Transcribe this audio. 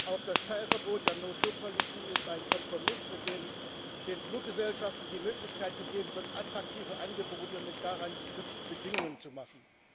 Auch das Teilverbot der no show policy ist ein Kompromiss, mit dem den Fluggesellschaften die Möglichkeit gegeben wird, attraktive Angebote mit daran geknüpften Bedingungen zu machen.